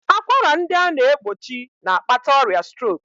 Akwara ndị a na-egbochi na-akpata ọrịa strok